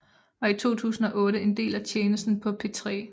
Var i 2008 en del af Tjenesten på P3